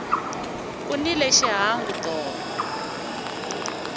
ku nile xihangu tolo